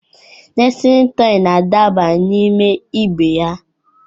Nestịlin tọị na-adaba n'ime ibe ha.